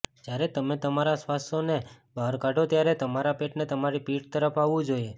જ્યારે તમે તમારા શ્વાસોને બહાર કાઢો ત્યારે તમારા પેટને તમારી પીઠ તરફ આવવું જોઈએ